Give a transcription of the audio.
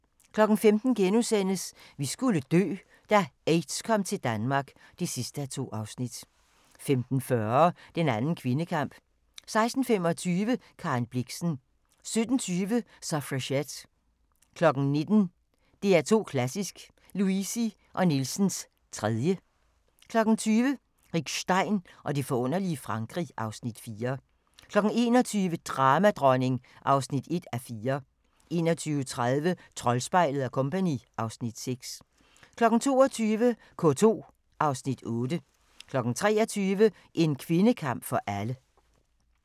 15:00: Vi skulle dø - da aids kom til Danmark (2:2)* 15:40: Den anden kvindekamp 16:25: Karen Blixen 17:20: Suffragette 19:00: DR2 Klassisk – Luisi & Nielsens 3. 20:00: Rick Stein og det forunderlige Frankrig (Afs. 4) 21:00: Dramadronning (1:4) 21:30: Troldspejlet & Co. (Afs. 6) 22:00: K2 (Afs. 8) 23:00: En kvindekamp for alle